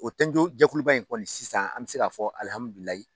O tɔnjɛkuluba in kɔni sisan an bɛ se k'a fɔ .